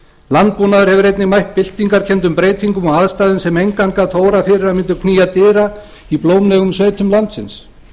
landbúnaður hefur einnig mætt byltingarkenndum breytingum og aðstæðum sem engan gat órað fyrir að mundi knýja dyra í blómlegum sveitum landsins